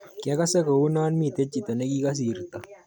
Kiakase kouon mite chito nikikosirto.